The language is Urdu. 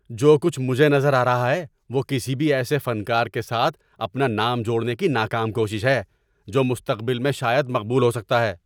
جو کچھ مجھے نظر آ رہا ہے وہ کسی بھی ایسے فنکار کے ساتھ اپنا نام جوڑنے کی ناکام کوشش ہے جو مستقبل میں شاید مقبول ہو سکتا ہے۔